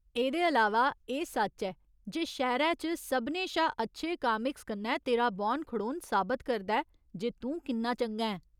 एह्दे अलावा, एह् सच्च ऐ जे शैह्‌रै च सभनें शा अच्छे कामिक्स कन्नै तेरा बौह्‌न खड़ोन साबत करदा ऐ जे तूं किन्ना चंगा ऐं।